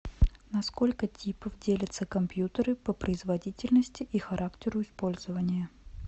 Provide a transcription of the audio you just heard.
на сколько типов делятся компьютеры по производительности и характеру использования